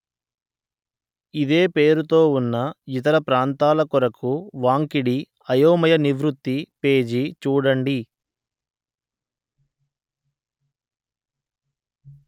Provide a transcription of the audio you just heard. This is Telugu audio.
ఇదే పేరుతో ఉన్న ఇతర ప్రాంతాల కొరకు వాంకిడి అయోమయ నివృత్తి పేజి చూడండి